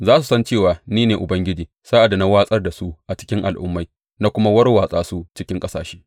Za su san cewa ni ne Ubangiji sa’ad da na watsar da su a cikin al’ummai na kuma warwatsa su cikin ƙasashe.